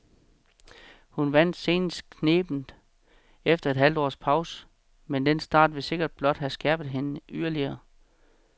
Hun vandt senest knebent efter et halvt års pause, men den start vil sikkert blot have skærpet hende yderligere.